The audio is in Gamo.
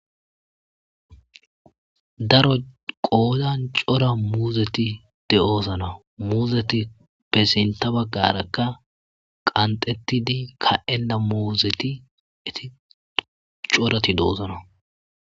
Daro qoozan cora muuzeti de'oosana muuzeti pesenta baggarakka qantettidi ka'ena muuzeti eti corati doosona